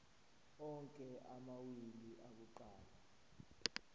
onke amawili akuqala